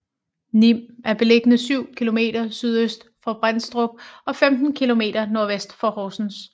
Nim er beliggende syv kilometer sydøst for Brædstrup og 15 kilometer nordvest for Horsens